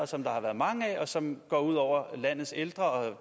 som der har været mange af og som går ud over landets ældre og